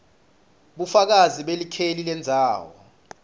bufakazi belikheli lendzawo